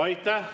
Aitäh!